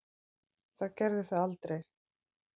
Það gerði það aldrei.